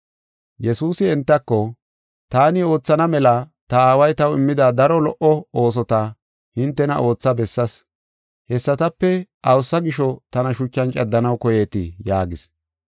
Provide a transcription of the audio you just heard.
Yesuusi entako, “Taani oothana mela ta Aaway taw immida daro lo77o oosota hintena ootha bessaas. Hessatape awusa gisho tana shuchan caddanaw koyeetii?” yaagis.